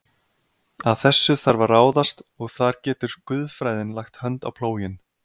Að þessu þarf að ráðast og þar getur guðfræðin lagt hönd á plóginn.